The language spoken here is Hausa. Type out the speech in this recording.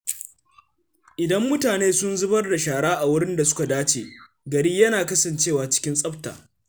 Idan mutane suna zubar da shara a wuraren da suka dace, gari yana kasancewa cikin tsafta.